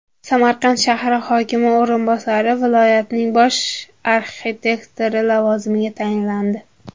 Samarqand shahri hokimi o‘rinbosari viloyatning bosh arxitektori lavozimiga tayinlandi.